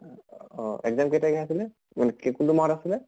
অহ exam কেই তাৰিখে আছিলে? কে কোনটো মাহত আছিলে?